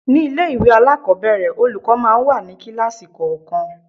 Ní ilé-ìwé alakobere, olùkọ́ máa ń wà ní kíláàsì kọ̀ọ̀kan.